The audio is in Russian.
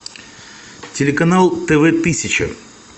телеканал тв тысяча